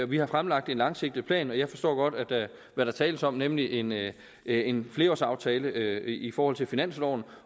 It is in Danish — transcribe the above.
vi har fremlagt en langsigtet plan jeg forstår godt hvad der tales om nemlig en en flerårsaftale i forhold til finansloven